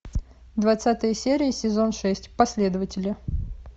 двадцатая серия сезон шесть последователи